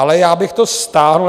Ale já bych to stáhl.